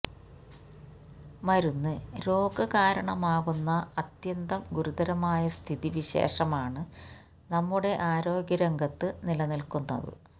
മരുന്ന് രോഗകാരണമാകുന്ന അത്യന്തം ഗുരുതരമായ സ്ഥിതി വിശേഷമാണ് നമ്മുടെ ആരോഗ്യരംഗത്ത് നിലനില്ക്കുന്നത്